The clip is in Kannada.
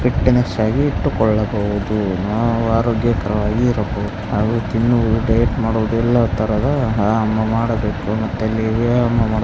ಫಿಟ್ನೆಸ್ ಆಗಿ ಇಟ್ಟುಕೊಳ್ಳಬಹುದು ನಾವು ಅರೋಗ್ಯಕರವಾಗಿ ಇರಬಹುದು ಹಾಗು ತಿನ್ನುವುದು ಡಯಟ್ ಮಾಡುವುದು ಎಲ್ಲ ಥರದ ವ್ಯಾಯಾಮ ಮಾಡಬೇಕು ಮತ್ತು ಇಲ್ಲಿ ವ್ಯಾಯಾಮ ಮಾಡಬೇಕು --